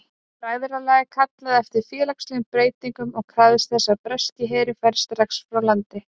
Bræðralagið kallaði eftir félagslegum breytingum og krafðist þess að breski herinn færi strax frá landinu.